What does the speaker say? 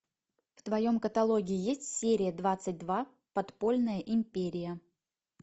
в твоем каталоге есть серия двадцать два подпольная империя